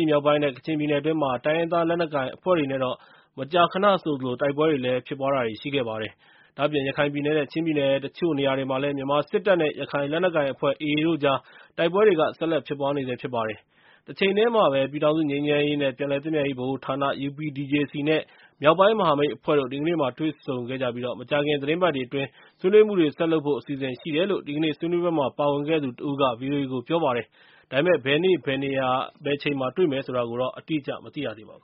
ယ်မြောက်ပိုင်းနဲ့ ကချင်ပြည်နယ်အတွင်း တိုင်းရင်းသား လက်နက်ကိုင်အဖွဲ့တွေနဲ့တော့ မကြာခဏဆိုသလို တိုက်ပွဲတွေ ဖြစ်ပွားခဲ့ပါတယ်။ ဒါ့အပြင် ရခိုင်ပြည်နယ် နဲ့ ချင်းပြည်နယ် တချို့နေရာတွေမှာ မြန်မာစစ်တပ် နဲ့ ရခိုင်လက်နက်ကိုင်အဖွဲ့ (AA) တို့ကြား တိုက်ပွဲတွေ ဆက်လက်ဖြစ်ပွားနေဆဲဖြစ်ပါတယ်။ တချိန်တည်းမှာပဲ ပြည်ထောင်စုငြိမ်းချမ်းရေး နဲ့ ပြန်လည်သင့်မြတ်ရေးဗဟိုဌာန UPDJC နဲ့ မြောက်ပိုင်းမဟာမိတ်အဖွဲ့တို့ ဒီကနေ့တွေ့ဆုံခဲ့ပြီး မကြာခင် သီတင်းပတ်တွေအတွင်း ဆွေးနွေးမှုတွေ ဆက်လုပ်ဖို့ အစီအစဉ်ရှိတယ်လို့ ဒီကနေ့ ဆွေးနွေးပွဲမှာ ပါဝင်ခဲ့သူတဦးက ဗွီအိုအေကို ပြောပါတယ်။ ဒါပေမယ့် ဘယ်နေရာ၊ ဘယ်အချိန်မှာ တွေ့မယ်ဆိုတာတော့ အတိအကျ မသိရသေးပါဘူ